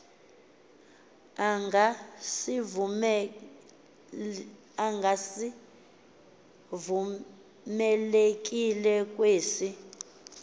anga sivumelekile kwesi